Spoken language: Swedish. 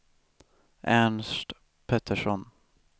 Ernst Petersson